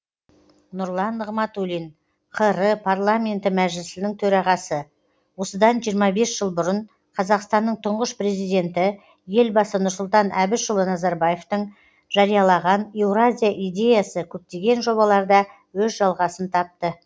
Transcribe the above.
нұрлан нығматулин қр парламенті мәжілісінің төрағасы осыдан жиырма бес жыл бұрын қазақстанның тұңғыш президенті елбасы нұрсұлтан әбішұлы назарбаевтың жариялаған еуразия идеясы көптеген жобаларда өз жалғасын тапты